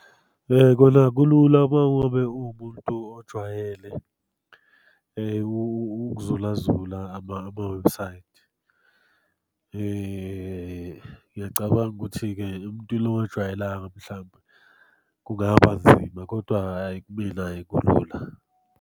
Kona kulula uma ngabe uwumuntu ojwayele ukuzulazula amawebhusayithi. Ngiyacabanga ukuthi-ke umuntu ongajwayelanga mhlampe kungaba nzima, kodwa hhayi kumina hhayi kulula.